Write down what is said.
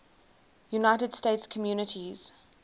united states communities